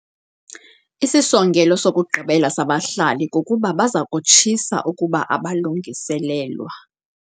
Isisongelo sokugqibela sabahlali kukuba baza kutshisa ukuba abalungiselelwa.